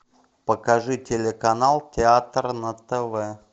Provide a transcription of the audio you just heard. покажи телеканал театр на тв